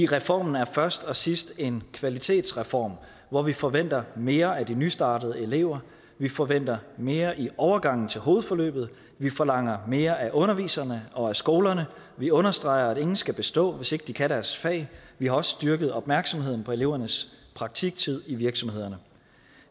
reformen er først som sidst en kvalitetsreform hvor vi forventer mere af de nystartede elever vi forventer mere i overgangen til hovedforløbet vi forlanger mere af underviserne og skolerne vi understreger at ingen skal bestå hvis ikke de kan deres fag vi har også styrket opmærksomheden på elevernes praktiktid i virksomhederne